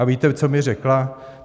A víte, co mi řekla?